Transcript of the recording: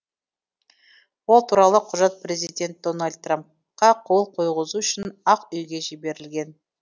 ол туралы құжат президент дональд трампқа қол қойғызу үшін ақ үйге жіберілген